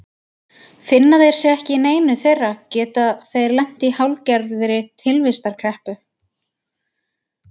Finni þeir sig ekki í neinu þeirra geta þeir lent í hálfgerðri tilvistarkreppu.